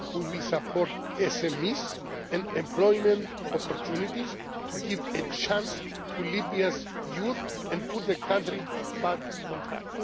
migration. We will support SMEs and employment opportunities to give a chance to Libya's youth and put the country back